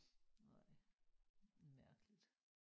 Nej mærkeligt